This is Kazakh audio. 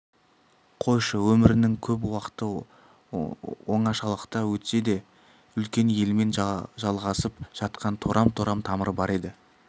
қойшы өмірінің көп уақыты оңашалықта өтсе де үлкен елмен жалғасып жатқан торам-торам тамыры бар еді